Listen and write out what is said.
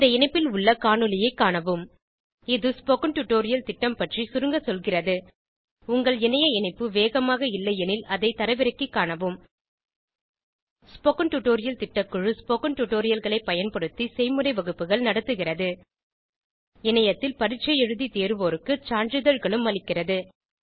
இந்த இணைப்பில் உள்ள காணொளியைக் காணவும் இது ஸ்போகன் டுடோரியல் திட்டம் பற்றி சுருங்க சொல்கிறது உங்கள் இணைய இணைப்பு வேகமாக இல்லையெனில் அதை தரவிறக்கிக் காணவும் ஸ்போகன் டுடோரியல் திட்டக்குழு ஸ்போகன் டுடோரியல்களைப் பயன்படுத்தி செய்முறை வகுப்புகள் நடத்துகிறது இணையத்தில் பரீட்சை எழுதி தேர்வோருக்கு சான்றிதழ்களும் அளிக்கிறது